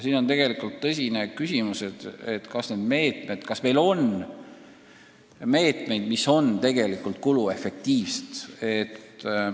Aga tegelikult on tõsine küsimus, kas need meetmed on ka kuluefektiivsed.